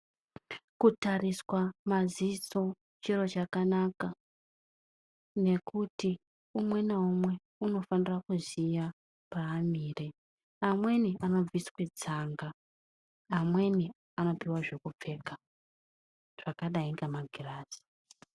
Kutariswa maziso chiro chakanaka, nekuti umwe naumwe unofanira kuziya paamire. Amweni anobviswe tsanga; amweni anipiwa zvekupfeka zvakadai ngemagirazi.